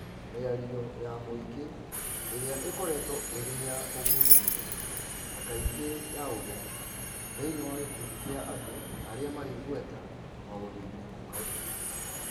Mĩario ya mũingĩ ĩrĩa ĩkoretwo ĩrĩ ya ũgucania na kaingĩ ya ũthũ, thĩinĩ wa gĩkundi kĩa andũ arĩa marĩ igweta maũndũ-inĩ ma ũteti,